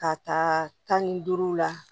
K'a ta tan ni duuru la